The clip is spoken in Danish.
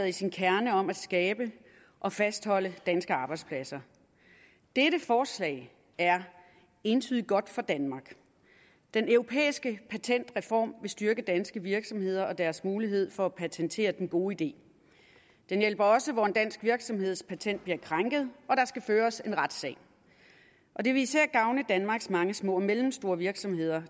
i sin kerne om at skabe og fastholde danske arbejdspladser dette forslag er entydigt godt for danmark den europæiske patentreform vil styrke danske virksomheder og deres mulighed for at patentere den gode idé den hjælper også hvor en dansk virksomheds patent bliver krænket og der skal føres en retssag det vil især gavne danmarks mange små og mellemstore virksomheder